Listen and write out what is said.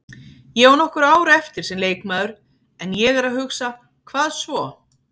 Ég á nokkur ár eftir sem leikmaður en ég er að hugsa, hvað svo?